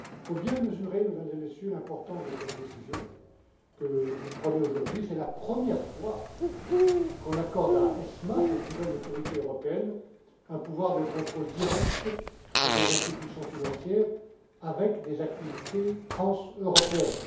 Il faut bien mesurer, Mesdames et Messieurs, l'importance de cette décision que vous prenez aujourd'hui. C'est la première fois qu'on accorde à ESMA, cette nouvelle Autorité européenne, un pouvoir de contrôle direct sur des institutions financières avec des activités transeuropéennes.